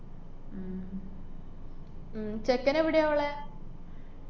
ഉം ചെക്കനേവടെയാ ഒള്ളെ?